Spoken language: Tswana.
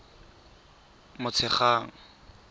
motshegang